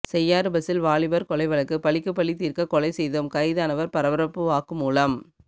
செய்யாறு பஸ்சில் வாலிபர் கொலை வழக்கு பழிக்குப்பழி தீர்க்க கொலை செய்தோம் கைதானவர் பரபரப்பு வாக்குமூலம்